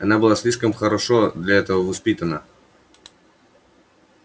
она была слишком хорошо для этого воспитана